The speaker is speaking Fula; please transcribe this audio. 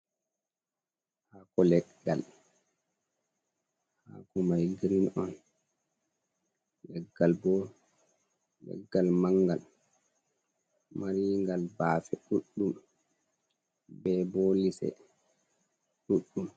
Haako leggal, leggal mai girin on, leggal bo leggal mangal marigal baafe ɗuɗɗum be bo lise ɗuɗɗum.